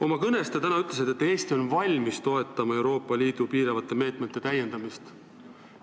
Oma kõnes te täna ütlesite, et Eesti on valmis toetama Euroopa Liidu piiravate meetmete täiendamist.